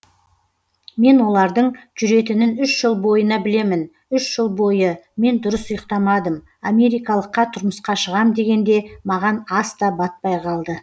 мен олардың жүретінін үш жыл бойына білемін үш жыл бойы мен дұрыс ұйықтамадым америкалыққа тұрмысқа шығам дегенде маған ас та батпай қалды